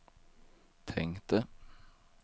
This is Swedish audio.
tänkte